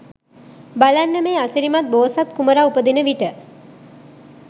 බලන්න මේ අසිරිමත් බෝසත් කුමරා උපදින විට